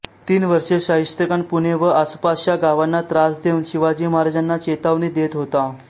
तीन वर्षे शाहिस्तेखान पुणे व आसपासच्या गावांना त्रास देऊन शिवाजी महाराजांना चेतावणी देत होता